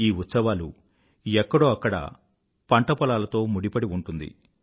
ఈ ఉత్సవాలు ఎక్కడోఅక్కడ పంటపొలాలతో ముడిపడి ఉంటుంది